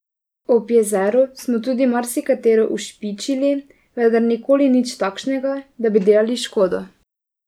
Ob jezeru smo tudi marsikatero ušpičili, vendar nikoli nič takšnega, da bi delali škodo.